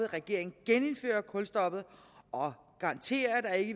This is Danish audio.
regeringen genindfører kulstoppet og garantere at